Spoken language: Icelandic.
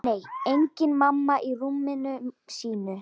Nei, engin mamma í rúminu sínu.